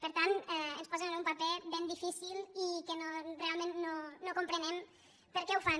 per tant ens posen en un paper ben difícil i que realment no comprenem per què ho fan